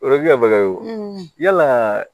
O ye baga ye o yala